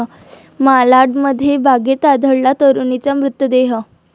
मालाडमध्ये बॅगेत आढळला तरुणीचा मृतदेह